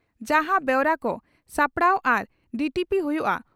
ᱡᱟᱦᱟᱸ ᱵᱮᱣᱨᱟ ᱠᱚ ᱥᱟᱯᱲᱟᱣ ᱟᱨ ᱰᱤᱴᱤᱯᱤ ᱦᱩᱭᱩᱜᱼᱟ